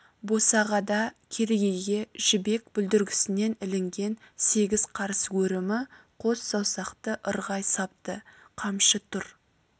босағада керегеге жібек бүлдіргісінен ілінген сегіз қарыс өрімі қос саусақты ырғай сапты қамшы тұр